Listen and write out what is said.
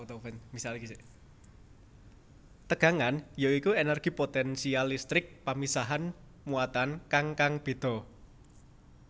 Tegangan ya iku energi potensial listrik pamisahan muatan kang kang beda